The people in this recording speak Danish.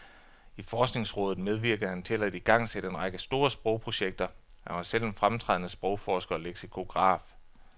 I forskningsrådet medvirkede han til at igangsætte en række store sprogprojekter, og han var selv en fremtrædende sprogforsker og leksikograf.